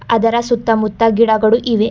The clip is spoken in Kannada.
ಅದರ ಸುತ್ತ ಮುತ್ತ ಗಿಡಗಳು ಇವೆ.